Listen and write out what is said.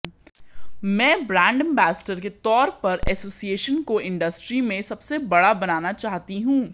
मैं brand ambassador के तौर पर एसोसिएशन को इंडस्ट्री में सबसे बड़ा बनाना चाहती हूं